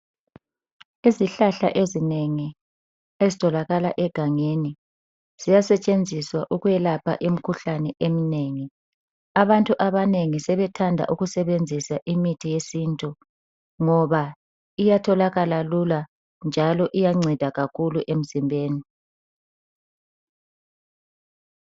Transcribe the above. Izihlahla ezinengi ezitholakala egangeni ziyasetshenziswa ukwelapha imikhuhlane emnengi, abantu abanengi sebethanda ukusebenzisa imithi yesintu ngoba iyatholakala lula njalo iyanceda kakhulu emzimbeni.